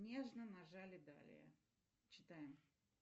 нежно нажали далее читаем